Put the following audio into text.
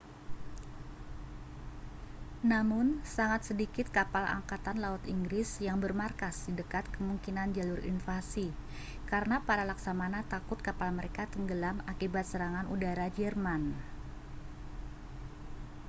namun sangat sedikit kapal angkatan laut inggris yang bermarkas di dekat kemungkinan jalur invasi karena para laksamana takut kapal mereka tenggelam akibat serangan udara jerman